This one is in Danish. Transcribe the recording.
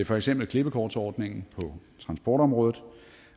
for eksempel klippekortsordningen på transportområdet